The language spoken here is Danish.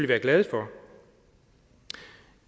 være glade for